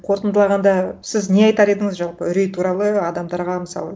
қорытындылағанда сіз не айтар едіңіз жалпы үрей туралы адамдарға мысалы